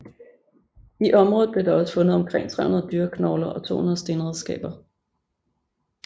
I området blev der også fundet omkring 300 dyreknogler og 200 stenredskaber